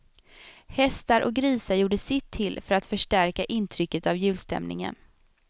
Hästar och grisar gjorde sitt till för att förstärka intrycket av julstämningen.